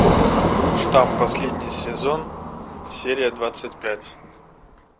штамм последний сезон серия двадцать пять